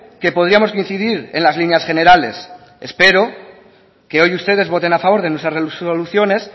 que podríamos coincidir en las líneas generales espero que hoy ustedes voten a favor de nuestras resoluciones